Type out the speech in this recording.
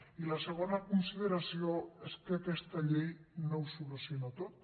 i la segona consideració és que aquesta llei no ho soluciona tot